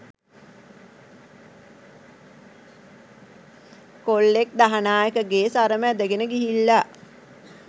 කොල්ලෙක් දහනායකගේ සරම ඇඳගෙන ගිහිල්ලා